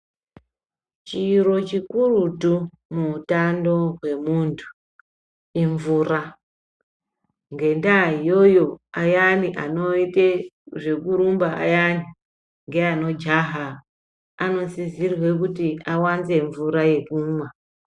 Chiro chikurutu muutano hwemuntu imvura. Ngendaa iyoyo ayani anoite zvekurumba ayaya ngeanojaha anosisirwe kuti awanze mvura yekumwa.